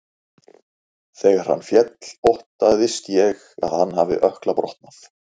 Þegar hann féll óttaðist ég að hann hafi ökkla brotnað.